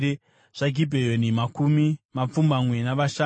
zvaGibheoni, makumi mapfumbamwe navashanu.